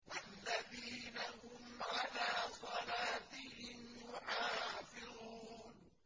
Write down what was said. وَالَّذِينَ هُمْ عَلَىٰ صَلَاتِهِمْ يُحَافِظُونَ